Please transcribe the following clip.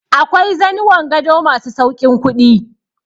Akwai zanuwan gado ma su sauƙin kuɗi.